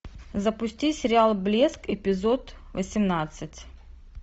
запусти сериал блеск эпизод восемнадцать